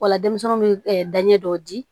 Wala denmisɛnw bɛ danɲɛ dɔw di